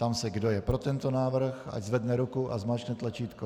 Ptám se, kdo je pro tento návrh, ať zvedne ruku a zmáčkne tlačítko.